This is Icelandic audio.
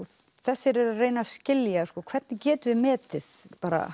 þessir eru að reyna að skilja hvernig getum við metið